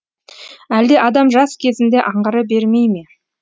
әлде адам жас кезінде аңғара бермейме